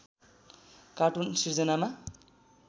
cartoon सिर्जनामा